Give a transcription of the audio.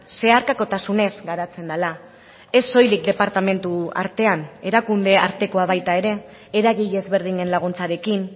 zeharkakotasunez garatzen dela ez soilik departamentu artean erakunde artekoa baita ere eragile ezberdinen laguntzarekin